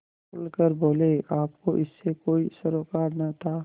खुल कर बोलेआपको इससे कोई सरोकार न था